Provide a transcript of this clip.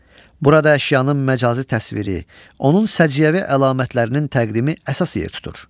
Burada əşyanın məcazi təsviri, onun səciyyəvi əlamətlərinin təqdimi əsas yer tutur.